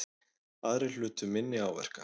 Aðrir hlutu minni áverka